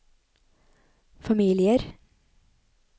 familier